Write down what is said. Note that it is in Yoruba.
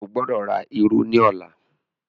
o gbódò rà ìrù ní ọlá!